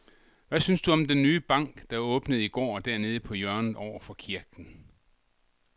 Hvad synes du om den nye bank, der åbnede i går dernede på hjørnet over for kirken?